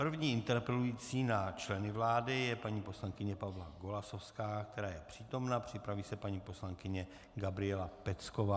První interpelující na členy vlády je paní poslankyně Pavla Golasowská, která je přítomna, připraví se paní poslankyně Gabriela Pecková.